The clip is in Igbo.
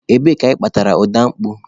Ebee ka ị kpatara ọda opuo?